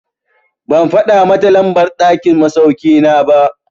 Ban faɗa mata lambar ɗakin masauki na ba.